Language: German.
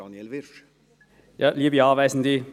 Kommissionssprecher der FiKo-Minderheit.